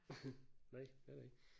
Nej det har det ikke